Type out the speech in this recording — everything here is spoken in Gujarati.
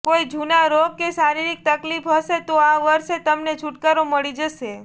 કોઈ જૂના રોગ કે શારીરિક તકલીફ હશે તો આ વર્ષે તમને છૂટકારો મળી જશે